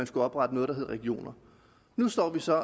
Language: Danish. skulle oprette noget der hed regioner nu står vi så